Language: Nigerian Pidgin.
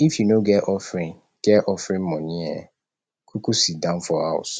if you no get offering get offering moni um kuku sidon for house